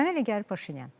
Mənə elə gəlir Paşinyan.